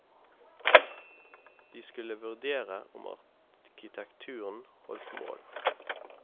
De skulle vurdere om arkitekturen holdt mål.